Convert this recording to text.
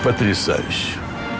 потрясающе